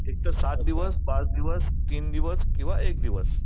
एकतर सात दिवस, पाच दिवस, तीन दिवस किंवा एक दिवस.